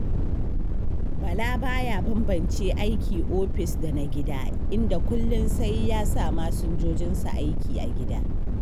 Bala ba ya bambance aiki ofis da na gida, inda kullun sai ya sa masinjojinsa aiki a gida.